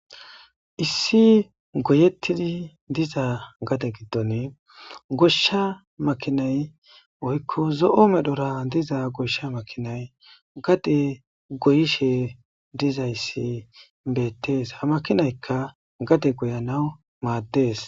issi goyettidi diza gate giddon goshsha makinay oykko zo7o medhora diza goshsha makinay gade goyishe dizayssi beettees ha makinaykka gade goyanaw maaddees